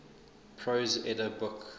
prose edda book